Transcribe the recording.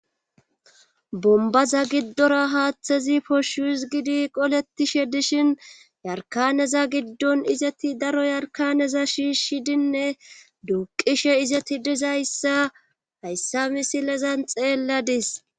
bombaza giddora haaththezi poshuhus gidi qoletishe dishin yarkaneza giddon izeti daro yarkaneza shiishshidinne duuqishe izeti dizayssa hayssa misilezan xeelladis